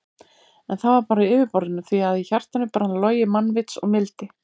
En það var bara á yfirborðinu því að í hjartanu brann logi mannvits og mildi.